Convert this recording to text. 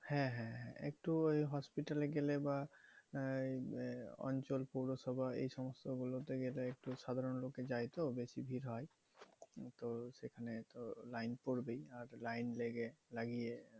হ্যাঁ হ্যাঁ হ্যাঁ একটু hospital এ গেলে বা আহ অঞ্চল পৌরসভা এই সমস্ত গুলোতে গেলে একটু সাধারণ লোকে যায় তো? বেশি ভিড় হয়। তো সেখানে তো লাইন পড়বেই আর লাইন লেগে লাগিয়ে